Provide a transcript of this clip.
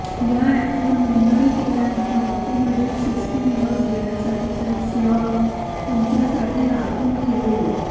या अॅपवर नोंदणी केल्यानंतर ऑटोमेटेड सिस्टीम लस घेण्यासाठीचा एक स्लॉट तुमच्यासाठी राखून ठेवेल